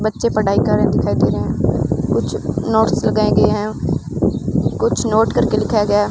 बच्चे पढ़ाई कर रहे दिखाई दे रहे हैं कुछ नोट्स लगाए गए हैं कुछ नोट करके लिखाया गया।